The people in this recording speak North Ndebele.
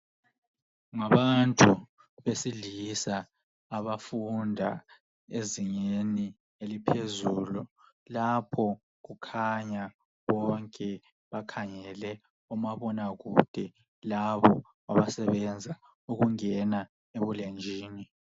Ngabantu besilisa abafunda ezingeni eliphezuli lapho kukhanya bonke bakhangele omabona kude labo abasebenza ukungena ebulenjini.